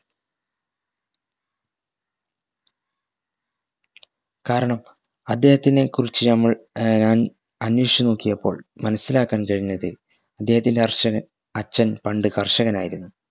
കാരണം അദ്ദേഹത്തിനെ കുറിച്ച് നമ്മൾ ഏർ ഞാൻ അന്വേഷിച് നോക്കിയപ്പോൾ മനസിലാക്കാൻ കഴിഞ്ഞത് ഇദ്ദേഹത്തിൻറെ ഹര്ഷന് അച്ഛൻ പണ്ട് കർഷകൻ ആയിരുന്നു